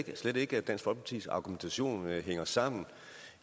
jeg slet ikke at dansk folkepartis argumentation hænger sammen